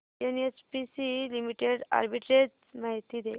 NHPC limited arbitrage माहिती दे